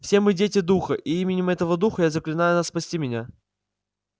все мы дети духа и именем этого духа я заклинаю вас спасти меня